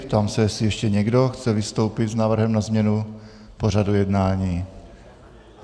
Ptám se, jestli ještě někdo chce vystoupit s návrhem na změnu pořadu jednání.